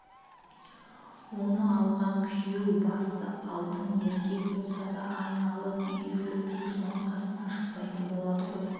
оны алған күйеу басы алтын еркек болса да айналып-үйіріліп тек соның қасынан шықпайтын болады ғой